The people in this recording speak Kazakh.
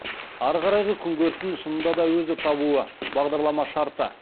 ары қарайғы күнкөрісін шынында да өзі табуы бағдарлама шарты